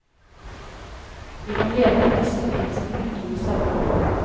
Vi må leve med disse omgivelsene i hundrevis av år.